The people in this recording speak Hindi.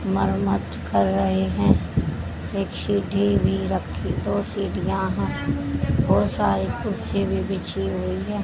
मरम्त कर रहे हैं एक सीटी भी रखी दो सीढियां है बहोत सारी कुर्सियां बिछी हुई है।